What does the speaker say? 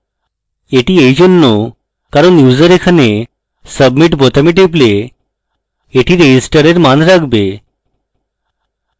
এটি এইজন্য কারণ user এখানে submit বোতামে টিপলে এটি register এর মান রাখবে